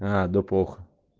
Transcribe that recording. а да похуй